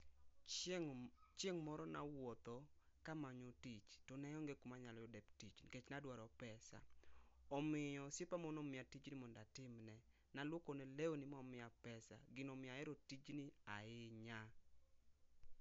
Chieng, chieng moro nawuotho kamanyo tich tone onge kuma anyalo yude tich nikech ne amanyo pesa. Omiyo osiepa moro ne aluokone lewni ma omiya pesa, gino omiyo ahero tijni ahinya